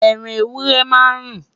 ẹran ewúrẹ́ má n run